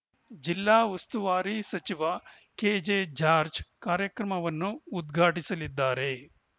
ಜಿಲ್ಲಾ ಉಸ್ತುವಾರಿ ಸಚಿವ ಕೆಜೆ ಜಾರ್ಜ್ ಕಾರ್ಯಕ್ರಮವನ್ನು ಉದ್ಘಾಟಿಸಲಿದ್ದಾರೆ